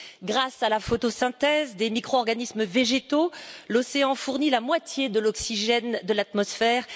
Grâce à la photosynthèse des micro organismes végétaux, l'océan fournit la moitié de l'oxygène de l'atmosphère